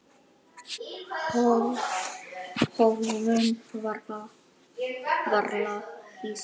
Höfðum varla hist.